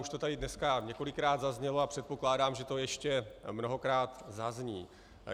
Už to tady dneska několikrát zaznělo a předpokládám, že to ještě mnohokrát zazní.